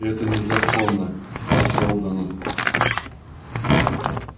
и это незаконно по сэлдону